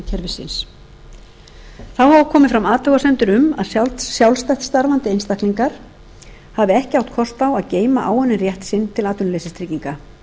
kerfisins þá hafa komið fram athugasemdir um að sjálfstætt starfandi einstaklingar hafa ekki átt kost á að geyma áunninn rétt sinn til atvinnuleysistrygginga